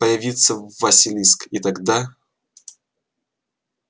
появится василиск и тогда